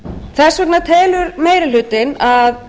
þess vegna telur meiri hlutinn að